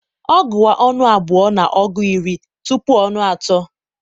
ọ gua nnù abua na ọgu iri tupu nnù atọ